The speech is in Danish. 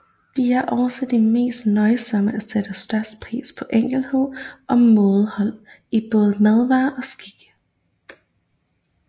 De er også de mest nøjsomme og sætter størst pris på enkelhed og mådehold i både madvaner og skikke